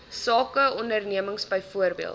sake ondernemings byvoorbeeld